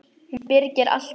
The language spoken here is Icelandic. Hún byrgir allt inni.